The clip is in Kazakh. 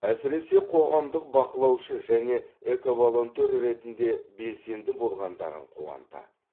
әсіресе қоғамдық бақылаушы және эковолонтер ретінде белсенді болғандарың қуантады